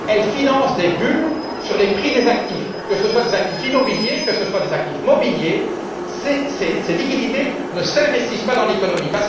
Elles financent des bulles sur le prix des actifs, que ce soit des actifs immobiliers, que ce soit des actifs mobiliers. Ces liquidités ne s'investissent pas dans l'économie.